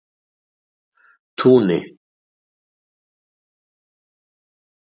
Túni